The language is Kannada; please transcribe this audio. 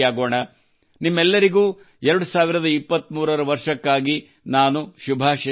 ನಿಮ್ಮೆಲ್ಲರಿಗೂ 2023 ರ ವರ್ಷಕ್ಕಾಗಿ ನಾನು ಶುಭಾಶಯ ಕೋರುತ್ತೇನೆ